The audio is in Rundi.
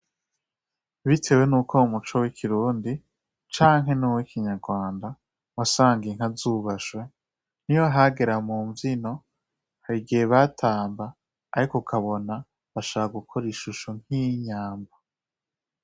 Bitewe nuko uwomuco w'ikirundi canke nuw'ikinyagwanda wasanga Inka zubashwe niyo hagera munvyino harigihe batamba ariko ukabona bashaka gukora ishusho nk'iyinyambo.